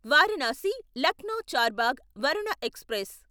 Varanasi Lucknow Charbagh Varuna express